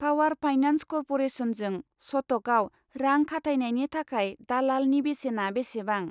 Power finance कर्प'रेसनजों सट'कआव रां खाथायनायनि थाखाय दालालनि बेसेना बेसेबां?